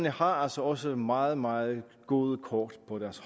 har altså også meget meget gode kort